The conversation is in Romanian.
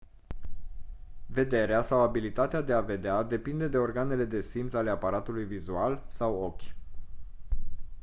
vederea sau abilitatea de a vedea depinde de organele de simț ale aparatului vizual sau ochi